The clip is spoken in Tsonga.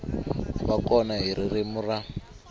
va kona hi ririmi ra